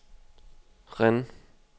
Rennes